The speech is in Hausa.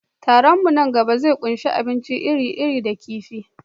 Taron mu na gaba zai ƙunshi abinci iri-iri da kifi.